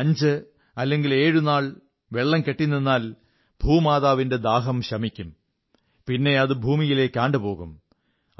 അഞ്ച് അല്ലെങ്കിൽ ഏഴുനാൾ വെള്ളം കെട്ടിനിന്നാൽ ഭൂമാതാവിന്റെ ദാഹം ശമിക്കും പിന്നെയത് ഭൂമിയിലേക്ക് ആണ്ടുപോകും